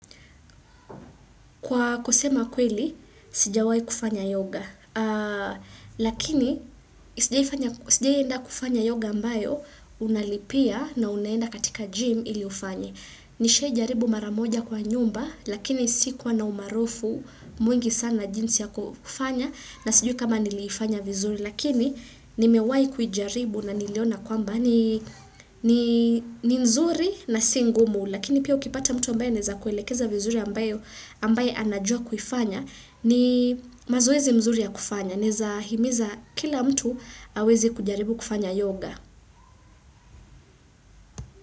Kwa kusema kweli, sijawahi kufanya yoga. Lakini, sijawahi fanya sijawahi enda kufanya yoga ambayo unalipia na unaenda katika gym ili ufanye. Nilisha jaribu mara moja kwa nyumba, lakini si kwa na umaarufu mwingi sana jinsi ya kufanya na sijui kama niliifanya vizuri. Lakini ni mewahi kuijaribu na niliona kwamba ni ni ni nzuri na singumu lakini pia ukipata mtu ambaye anaweza kuelekeza vizuri ambaye ambaye anajua kuifanya ni mazoezi mzuri ya kufanya naweza himiza kila mtu aweze kujaribu kufanya yoga.